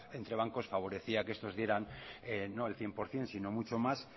entre bancos favorecía que estos dieran no el cien por ciento sino mucho más